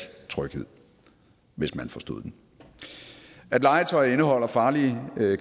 tryghed hvis man forstod den at legetøj indeholder farlige